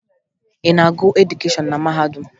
Ị na-agụ edukeshọn na mahadum?